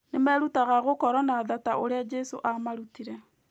Nĩ merutaga gũkorwo na tha ta ũrĩa Jesũ aamarutire.